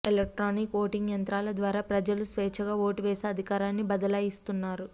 electronic voting యంత్రాల ద్వారా ప్రజలు స్వేచ్చగా ఓటు వేసి అధికారాన్ని బదలాయిస్తున్నారు